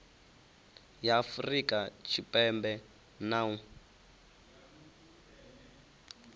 ya afurika tshipembe na u